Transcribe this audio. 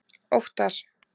Óttar